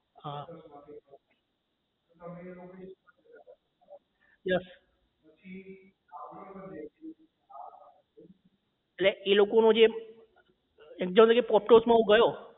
હા yes એટલે એ લોકો નું જે example તરીકે માં જો હું ગયો